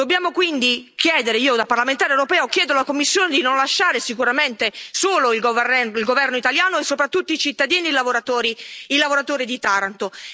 Dobbiamo quindi chiedere, io da parlamentare europeo chiedo alla Commissione di non lasciare sicuramente solo il governo italiano e, soprattutto, i cittadini e i lavoratori di Taranto.